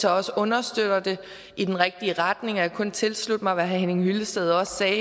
også understøtter det i den rigtige retning jeg kan kun tilslutte mig hvad herre henning hyllested også sagde